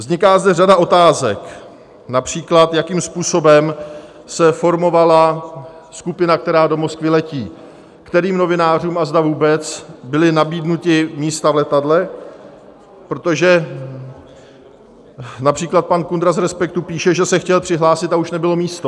Vzniká zde řada otázek, například jakým způsobem se formovala skupina, která do Moskvy letí, kterým novinářům a zda vůbec byla nabídnuta místa v letadle, protože například pan Kundra z Respektu píše, že se chtěl přihlásit a už nebylo místo.